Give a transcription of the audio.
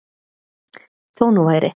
Þó nú væri.